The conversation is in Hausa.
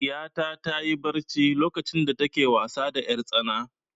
Ɗiyata ta yi barci lokacin da ta ke wasa da 'yartsana.